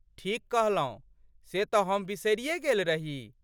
ठीक कहलौं। से तँ हम बिसरिये गेल रही।